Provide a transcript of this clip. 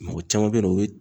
Mɔgɔ caman bɛ ye nɔ o bɛ